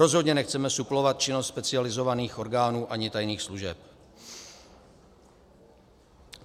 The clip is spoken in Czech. Rozhodně nechceme suplovat činnost specializovaných orgánů ani tajných služeb.